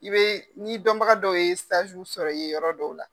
I bɛ ni dɔnbaga dɔw ye sajiw sɔrɔ i ye yɔrɔ dɔw la.